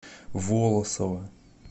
волосово